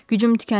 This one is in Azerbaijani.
Gücüm tükənir.